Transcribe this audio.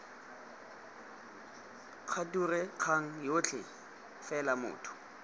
kgature kgang yotlhe fela motho